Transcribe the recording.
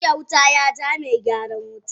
jiya wuta ya ja mai gyaran wuta.